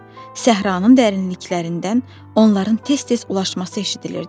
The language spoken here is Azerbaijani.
Səhranın dərinliklərindən onların tez-tez ulaşması eşidilirdi.